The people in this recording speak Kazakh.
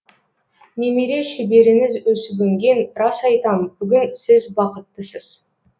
немере шөбереңіз өсіп өнген рас айтам бүгін сіз бақыттысыз